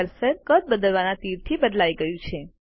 cursor કદ બદલવાના તીરથી બદલાય ગયું છે